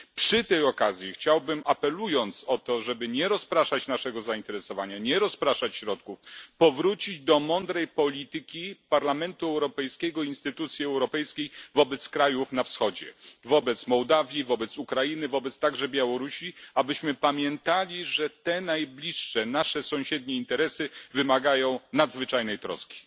Przy tej okazji chciałbym apelując o to, żeby nie rozpraszać naszego zainteresowania, nie rozpraszać środków, powrócić do mądrej polityki Parlamentu Europejskiego, instytucji europejskiej wobec krajów na wschodzie wobec Mołdawii, wobec Ukrainy, wobec także Białorusi abyśmy pamiętali, że te najbliższe nasze sąsiednie interesy wymagają nadzwyczajnej troski.